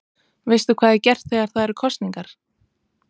Veistu hvað er gert þegar það eru kosningar?